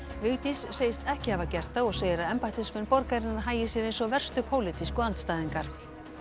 Vigdís segist ekki hafa gert það og segir að embættismenn borgarinnar hagi sér eins og verstu pólitísku andstæðingar